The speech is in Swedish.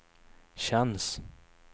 känns